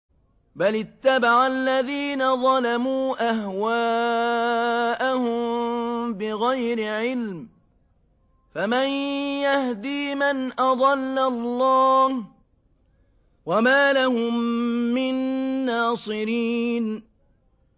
بَلِ اتَّبَعَ الَّذِينَ ظَلَمُوا أَهْوَاءَهُم بِغَيْرِ عِلْمٍ ۖ فَمَن يَهْدِي مَنْ أَضَلَّ اللَّهُ ۖ وَمَا لَهُم مِّن نَّاصِرِينَ